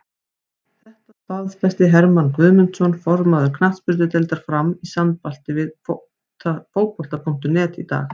Þetta staðfesti Hermann Guðmundsson, formaður knattspyrnudeildar Fram, í samtali við Fótbolta.net í dag.